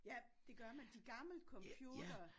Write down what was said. Ja det gør man de gamle computere